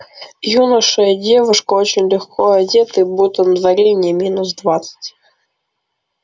юноша и девушка очень легко одетые будто на дворе не минус двадцать